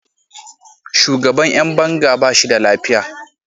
Shugaban ’yan banga ba shi da lafiya.